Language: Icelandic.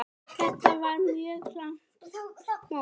Þetta var mjög langt mót.